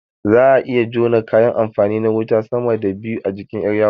Za'a iya jona kayan amfani na wuta sama da biyu a jikin ƴar yawo